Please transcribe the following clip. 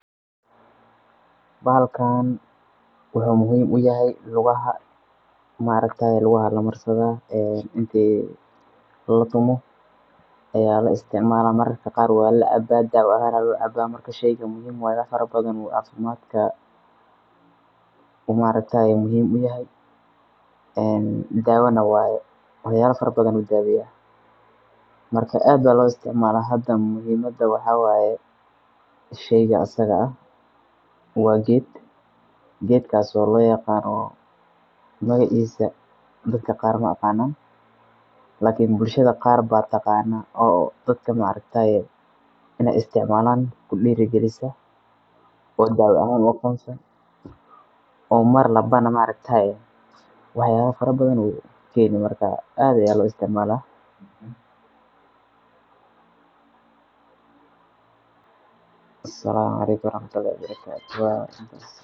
Bahalkan wuxu muhiim u yahay lugaha markatay kugaha lamarsadain latumu aya laisticmala marmarka qaar waa lacaba dawahan aya loo caba marka sheyqa muhiim waye wax farabadhan ay oo markatay muhiim u yahay een dawana waye. Wax yala farabadhan ayu daweyah. Marka aad ba loo isticmala muhimada waxa waye sheyqa asiga aah waa geed geedkaso lo yaqano magacisa dadka qaar ma aqanan lakin bulshada qaar ba taqana oo dadka marakatay inay isticmalan kudirigalisa oo dawa ahan ufayda marwalban ma arkta wax yala farabadan ay keeni marka aad aya loo isticmala. Assalamu alykum.